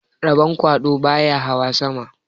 Rabon kwaɗo baya hawa sama